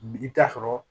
I bi taa sɔrɔ